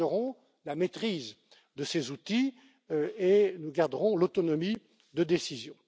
Nous garderons la maîtrise de ces outils et nous garderons l'autonomie de décision.